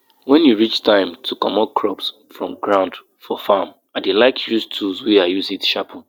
put natural rock dust for soil so e go help add the small-small nutrients wey dey miss for under the ground